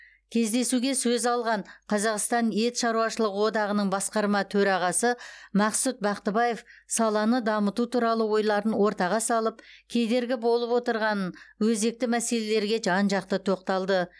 кездесуге сөз алған қазақстан ет шаруашылық одағының басқарма төрағасы мақсұт бақтыбаев саланы дамыту туралы ойларын ортаға салып кедергі болып отырғанын өзекті мәселелерге жан жақты тоқталды